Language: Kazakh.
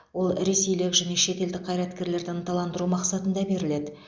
ол ресейлік және шетелдік қайраткерлерді ынталандыру мақсатында беріледі